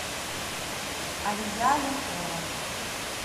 алия ленкова